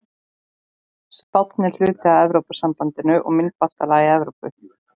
Spánn er hluti af Evrópusambandinu og myntbandalagi Evrópu.